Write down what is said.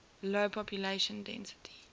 low population density